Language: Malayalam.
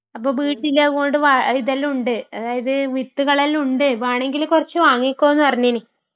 അപ്പൊ വീട്ടിലങ്ങോട്ട് വാ, ഇതെല്ലാം ഉണ്ട്..ഇത്..വിത്തുകളെല്ലാം ഉണ്ട്..വേണെങ്കില് കുറച്ചു വാങ്ങിക്കോ നു പറഞ്ഞ്ന്.